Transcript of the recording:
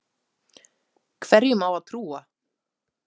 Hverjum á að trúa?